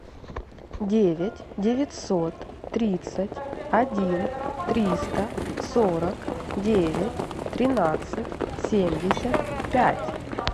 девять девятьсот тридцать один триста сорок девять тринадцать семьдесят пять